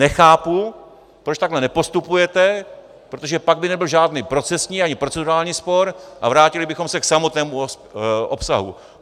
Nechápu, proč takhle nepostupujete, protože pak by nebyl žádný procesní ani procedurální spor a vrátili bychom se k samotnému obsahu.